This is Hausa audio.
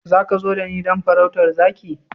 Za ka zo da ni don farautar zaki?